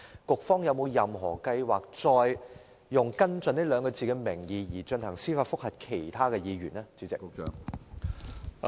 局方日後有否任何計劃再以"跟進"兩字的名義，向其他議員提出司法覆核？